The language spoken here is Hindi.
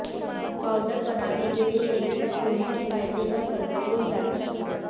पाउडर बनाने के लिए एक साथ लोहे की फाइलिंग और सल्फर को हिलाएं